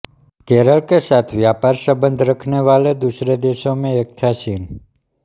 केरल के साथ व्यापार संबन्ध रखने वाले दूसरे देशों में एक था चीन